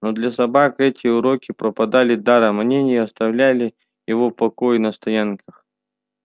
но для собак эти уроки пропадали даром они не оставляли его в покое на стоянках